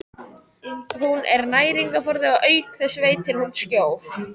Hún er næringarforði og auk þess veitir hún skjól.